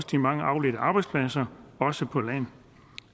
de mange afledte arbejdspladser også på land